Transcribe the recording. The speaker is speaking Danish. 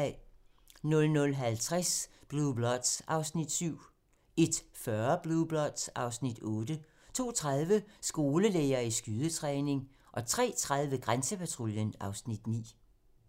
00:50: Blue Bloods (Afs. 7) 01:40: Blue Bloods (Afs. 8) 02:30: Skolelærere i skydetræning 03:30: Grænsepatruljen (Afs. 9)